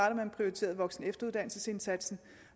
at man prioriterede voksen og efteruddannelsesindsatsen